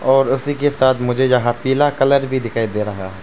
और उसी के साथ मुझे जहां पीला कलर भी दिखाई दे रहा है।